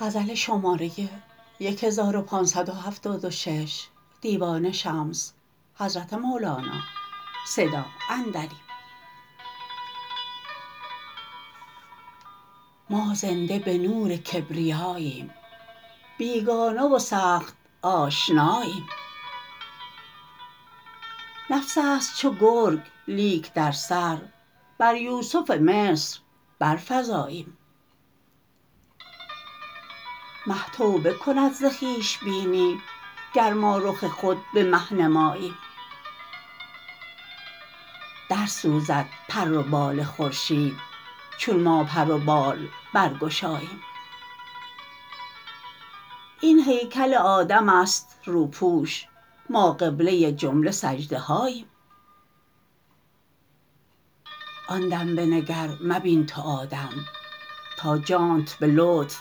ما زنده به نور کبریاییم بیگانه و سخت آشناییم نفس است چو گرگ لیک در سر بر یوسف مصر برفزاییم مه توبه کند ز خویش بینی گر ما رخ خود به مه نماییم درسوزد پر و بال خورشید چون ما پر و بال برگشاییم این هیکل آدم است روپوش ما قبله جمله سجده هاییم آن دم بنگر مبین تو آدم تا جانت به لطف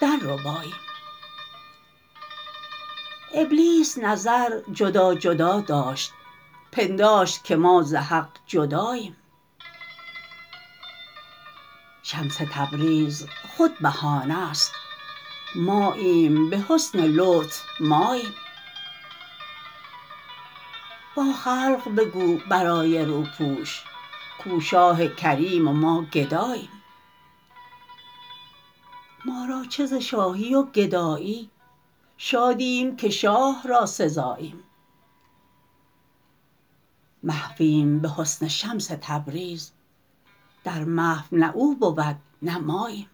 دررباییم ابلیس نظر جدا جدا داشت پنداشت که ما ز حق جداییم شمس تبریز خود بهانه ست ماییم به حسن لطف ماییم با خلق بگو برای روپوش کو شاه کریم و ما گداییم ما را چه ز شاهی و گدایی شادیم که شاه را سزاییم محویم به حسن شمس تبریز در محو نه او بود نه ماییم